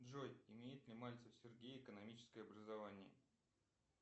джой имеет ли мальцев сергей экономическое образование